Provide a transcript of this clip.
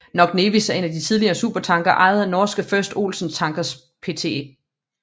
Knock Nevis er en tidligere supertanker ejet af norske First Olsen Tankers Pte